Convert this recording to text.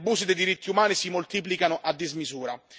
gli abusi dei diritti umani si moltiplicano a dismisura.